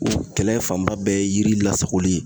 O kɛlɛ fanba bɛɛ ye yiri lasagoli ye